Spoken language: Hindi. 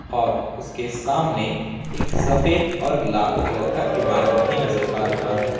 और उसके सामने एक सफेद और लाल कलर का इमारत भी नजर आ रहा है।